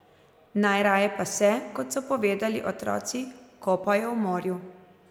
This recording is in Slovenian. Najraje pa se, kot so povedali otroci, kopajo v morju.